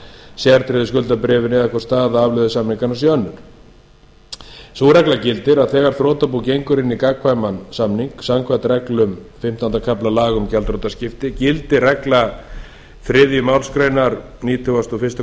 sértryggðu skuldabréfin eða hvort staða afleiðusamninganna sé önnur sú regla gildir að þegar þrotabú gengur inn í gagnkvæman samning samkvæmt reglum fimmtánda kafla laga um gjaldþrotaskipti gildir regla þriðju málsgrein nítugasta og fyrstu